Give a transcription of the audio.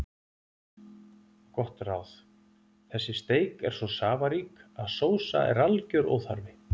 Gott ráð: Þessi steik er svo safarík að sósa er algjör óþarfi.